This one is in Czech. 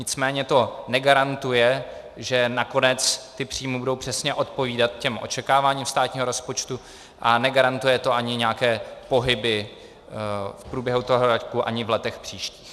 Nicméně to negarantuje, že nakonec ty příjmy budou přesně odpovídat těm očekáváním státního rozpočtu, a negarantuje to ani nějaké pohyby v průběhu toho roku, ani v letech příštích.